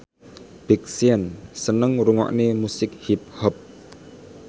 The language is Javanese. Big Sean seneng ngrungokne musik hip hop